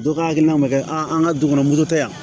Dɔ ka hakilina ma kɛ an ka du kɔnɔ moritɛ